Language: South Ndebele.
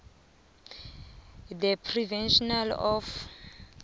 the prevention of